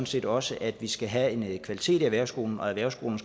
set også at vi skal have en kvalitet i erhvervsskolerne